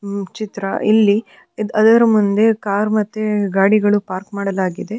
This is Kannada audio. ಚಿತ್ರ ಇಲ್ಲಿ ಅದರ ಮುಂದೆ ಕಾರ್ ಮತ್ತು ಗಾಡಿಗಳನ್ನು ಪಾರ್ಕ್ ಮಾಡಲಾಗಿದೆ.